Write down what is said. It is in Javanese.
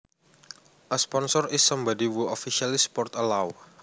A sponsors is somebody who officially supports a law